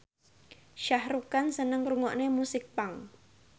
Shah Rukh Khan seneng ngrungokne musik punk